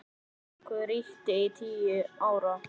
Hann ríkti í tíu ár.